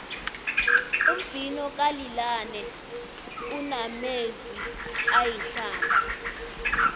umbhino kalil wayne unamezwi ayihlamba